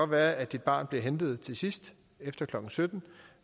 være at dit barn bliver hentet til sidst efter klokken sytten